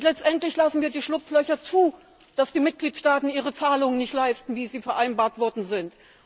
Letztendlich lassen wir Schlupflöcher zu, so dass die Mitgliedstaaten ihre Zahlungen nicht leisten, wie sie vereinbart worden sind!